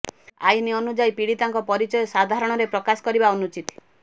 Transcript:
ଆଇନ ଅନୁଯାୟୀ ପିଡ଼ୀତାଙ୍କ ପରିଚୟ ସାଧାରଣରେ ପ୍ରକାଶ କରିବା ଅନୁଚିତ